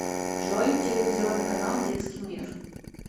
джой телевизионный канал детский мир